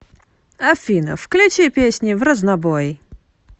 афина включи песни в разнобой